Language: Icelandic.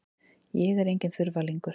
Ég er enginn þurfalingur.